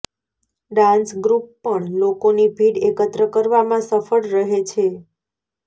dance group પણ લોકોની ભીડ એકત્ર કરવામાં સફળ રહે છે